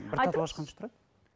бір татуаж қанша тұрады